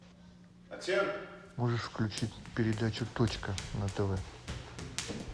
можешь включить передачу точка на тв